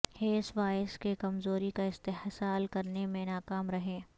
Harris virus کی کمزوری کا استحصال کرنے میں ناکام رہیں